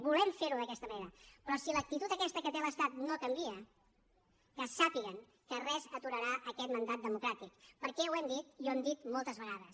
volem ferho d’aquesta manera però si l’actitud aquesta que té l’estat no canvia que sàpiguen que res aturarà aquest mandat democràtic perquè ho hem dit i ho hem dit moltes vegades